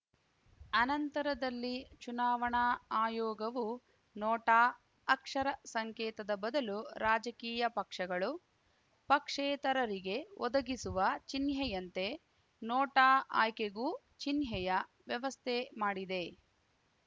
ಅನಂತರದಲ್ಲಿ ಚುನಾವಣಾ ಆಯೋಗವು ನೋಟಾ ಅಕ್ಷರ ಸಂಕೇತದ ಬದಲು ರಾಜಕೀಯ ಪಕ್ಷಗಳು ಪಕ್ಷೇತರರಿಗೆ ಒದಗಿಸುವ ಚಿಹ್ನೆಯಂತೆ ನೋಟಾ ಆಯ್ಕೆಗೂ ಚಿಹ್ನೆಯ ವ್ಯವಸ್ಥೆ ಮಾಡಿದೆ